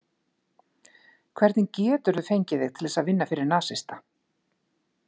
Hvernig geturðu fengið þig til að vinna fyrir nasista?